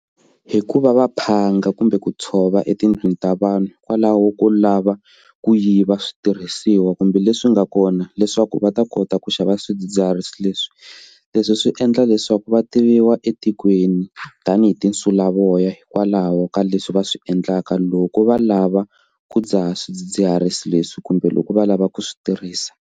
Hi ku va va phanga kumbe ku tshova etindlwini ta vanhu hikwalaho ko lava ku yiva switirhisiwa kumbe leswi nga kona leswaku va ta kota ku xava swidzidziharisi leswi leswi swi endla leswaku vativiwa etikweni tanihi tinsulavoya hikwalaho ka leswi va swi endlaka loko va lava ku dzaha swidzidziharisi leswi kumbe loko va lava ku swi tirhisa.